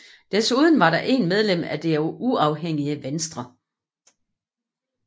Desuden var der 1 medlem fra det uafhængige venstre